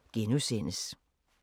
DR1